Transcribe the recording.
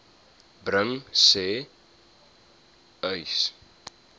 bring sê uys